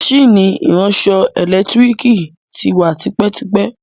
Maṣínì ìránṣo ẹ̀lẹ́tírìkì ti wa tipẹ́tipẹ́.